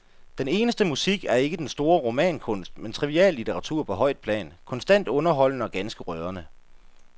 Den eneste musik er ikke den store romankunst, men triviallitteratur på højt plan, konstant underholdende og ganske rørende.